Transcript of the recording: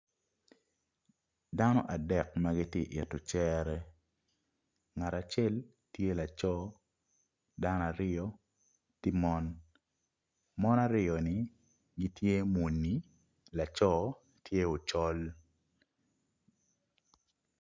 Dano adek magitye ito cere ngat acel tye laco dano aryo tye mon, mon aryo ni gitye muni laco tye ocol.